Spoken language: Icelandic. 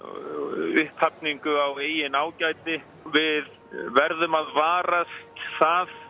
upphafningu á eigin ágæti við verðum að varast það